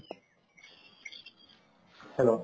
hello